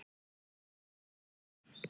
loka þær.